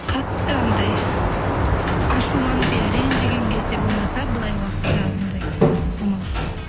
қатты анандай ашуланып иә ренжіген кезде болмаса былай уақытта ондай болмаған